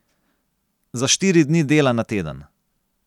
Za štiri dni dela na teden.